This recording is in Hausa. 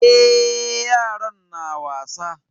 Eh, yaran na wasa.